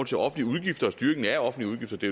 til offentlige udgifter og styringen af offentlige udgifter det